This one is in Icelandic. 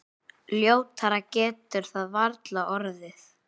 Ljótara getur það varla orðið.